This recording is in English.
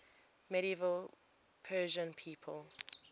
medieval persian people